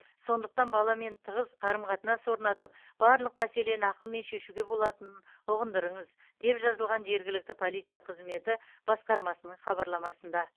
сондықтан баламен тығыз қарым қатынас орнатып барлық мәселені ақылмен шешуге болатынын ұғындырыңыз деп жазылған жергілікті полиция қызметі басқармасының хабарламасында